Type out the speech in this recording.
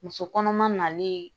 Muso kɔnɔma nalen